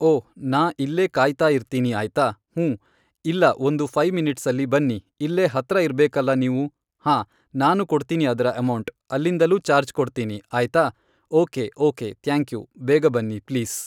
ಓ ನಾ ಇಲ್ಲೇ ಕಾಯ್ತಾಯಿರ್ತೀನಿ ಆಯ್ತಾ, ಹ್ಞೂಂ, ಇಲ್ಲ ಒಂದು ಫೈವ್ ಮಿನಿಟ್ಸಲ್ಲಿ ಬನ್ನಿ ಇಲ್ಲೇ ಹತ್ರ ಇರ್ಬೇಕಲ್ಲ ನೀವು, ಹಾನ್, ನಾನು ಕೊಡ್ತೀನಿ ಅದರ ಅಮೌಂಟ್ ಅಲ್ಲಿಂದಲೂ ಚಾರ್ಜ್ ಕೊಡ್ತೀನಿ ಆಯ್ತಾ ಓಕೆ ಓಕೆ ತ್ಯಾಂಕ್ಯೂ ಬೇಗ ಬನ್ನಿ ಪ್ಲೀಸ್